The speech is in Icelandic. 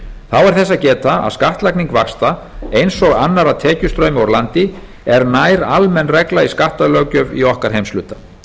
þess að geta að skattlagning vaxta eins og annarra tekjustrauma úr landi er nær almenn regla í skattalöggjöf í okkar heimshluta